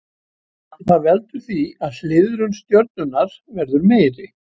Það veldur því að hliðrun stjörnunnar verður meiri.